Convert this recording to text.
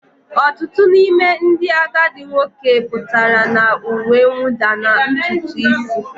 Ọtụtụ n'ime ndị agadi nwoke pụtara na uwe mwụda na ntutu isi